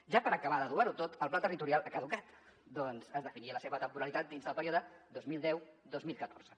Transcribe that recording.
ja per acabar d’adobar ho tot el pla territorial ha caducat ja que es definia la seva temporalitat dins del període dos mil deu dos mil catorze